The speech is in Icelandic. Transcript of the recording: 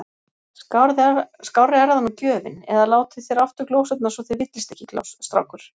Skárri er það nú gjöfin! eða Látið þér aftur glósurnar svo þér villist ekki, strákur.